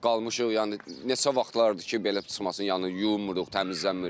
Qalmışıq yəni neçə vaxtlardır ki, belə çıxmasın, yəni yumuruq, təmizlənmirik.